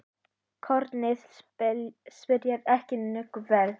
Kornið spíraði ekki nógu vel.